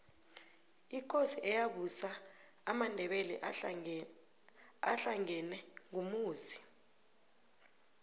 ikosi eyabusa amandebele ahlangena ngumusi